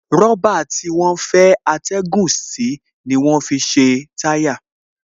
Rọ̀bà tí wọ́n fẹ́ atẹ́gùn sí ni wọ́n fi ṣe táyà